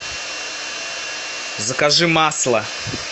закажи масло